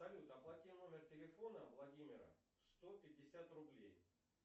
салют оплати номер телефона владимира сто пятьдесят рублей